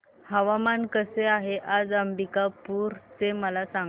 हवामान कसे आहे आज अंबिकापूर चे मला सांगा